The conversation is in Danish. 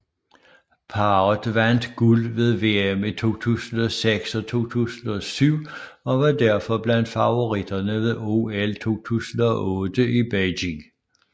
Parret vandt guld ved VM i 2006 og 2007 og var derfor blandt favoritterne ved OL 2008 i Beijing